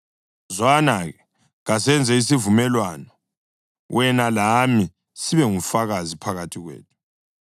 Zwana-ke, kasenze isivumelwano, wena lami, sibe ngufakazi phakathi kwethu.”